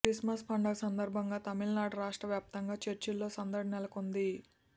Christmas పండుగ సందర్భంగా తమిళనాడు రాష్ట్ర వ్యాప్తంగా చర్చిల్లో సందడి నెలకొంది